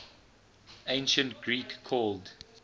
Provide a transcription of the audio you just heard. ancient greek called